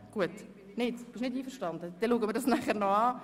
– Dann besprechen wir dies anschliessend.